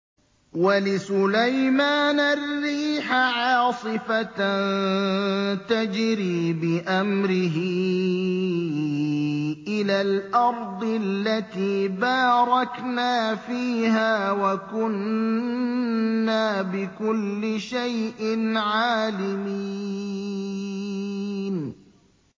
وَلِسُلَيْمَانَ الرِّيحَ عَاصِفَةً تَجْرِي بِأَمْرِهِ إِلَى الْأَرْضِ الَّتِي بَارَكْنَا فِيهَا ۚ وَكُنَّا بِكُلِّ شَيْءٍ عَالِمِينَ